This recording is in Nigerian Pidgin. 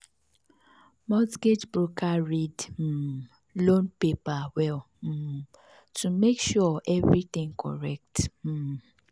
mortgage broker read um loan paper well um to make sure everything correct. um